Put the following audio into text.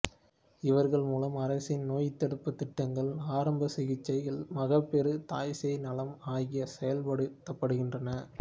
இவர்கள் மூலம் அரசின் நோய்தடுப்புத் திட்டங்கள் ஆரம்ப சிகிட்சைகள்மகப்பேறு தாய்சேய் நலம் ஆகியன செயல்படுத்தப்படுகின்றன